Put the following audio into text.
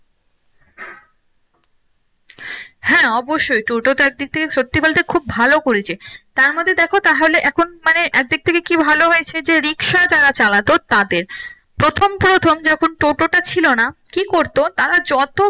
হ্যাঁ অব্যশই টোটো তো একদিক থেকে সত্যি বলতে খুব ভালো করেছে তার মধ্যে দেখো তাহলে এখন মানে এক দিক থেকে কি ভালো হয়েছে যে রিকশা যারা চালাতো তাদের প্রথম প্রথম যখন টোটোটা ছিল না কি করতো তারা যত